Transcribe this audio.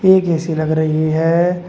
ये एक ए_सी लग रही है।